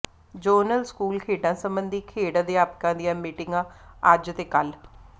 zonal school ਖੇਡਾਂ ਸਬੰਧੀ ਖੇਡ ਅਧਿਆਪਕਾਂ ਦੀਆਂ ਮੀਟਿੰਗਾਂ ਅੱਜ ਤੇ ਕੱਲ੍ਹ